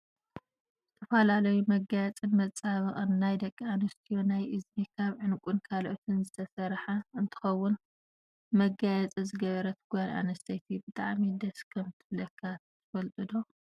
ዝተፈላለዩ መጋየፂን መፀባበቅን ናይ ደቂ ኣንስትዮ ናይ እዝኒ ካብ ዕንቁን ካልእን ዝተሰረሓ እንትከውን፣ መጋየፂ ዝገበረት ጓል ኣንስተቲ ብጣዕሚ ደስ ከምትብለካ ትፈልጡ ዶ?